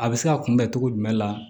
A bɛ se ka kunbɛ cogo jumɛn la